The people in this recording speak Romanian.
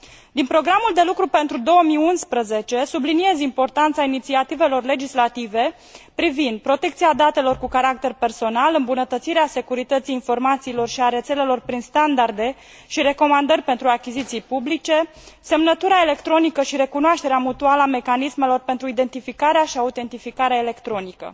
Din programul de lucru pentru 2011 subliniez importanța inițiativelor legislative privind protecția datelor cu caracter personal, îmbunătățirea securității informațiilor și a rețelelor prin standarde și recomandări pentru achiziții publice, semnătura electronică și recunoașterea mutuală a mecanismelor pentru identificarea și autentificarea electronică.